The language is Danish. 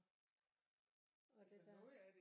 Og det der